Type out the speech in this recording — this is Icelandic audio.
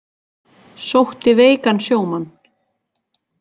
Sótti veikan sjómann